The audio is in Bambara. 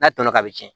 N'a tɔɔnɔ a bɛ cɛn